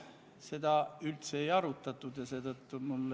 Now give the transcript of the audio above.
Seal on veel kaks probleemi.